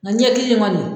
Nga ɲɛ kelen kɔni